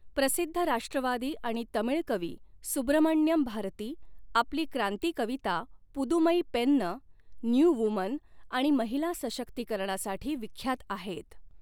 प्रसिद्ध राष्ट्रवादी आणि तमिळ कवी सुब्रमण्यम भारती, आपली क्रांती कविता पुदुमई पेन्न, न्यू वूमन आणि महिला सशक्तीकरणासाठी विख्यात आहेत.